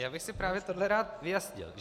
Já bych si právě tohle rád vyjasnil.